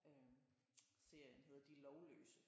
Øh serien hedder De Lovløse